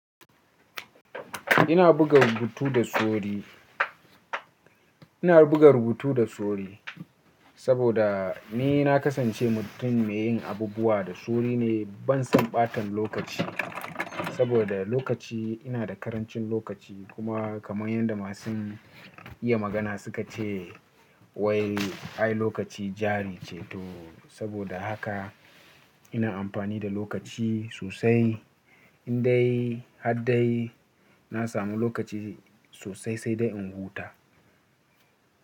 Ina buga rubutu da sori. Ina buga rubutu da sori saboda ni na kasance mutum mai yin abubuwa da soori ne. Ban son ɓatan lokaci saboda lokaci ina da karancin lokaci kuma kamar yadda masu iya magana suka ce wai ai lokaci jari ce to saboda haka ina amfani da lokaci sosai. In dai har dai na samu lokaci sosai sai dai in huta.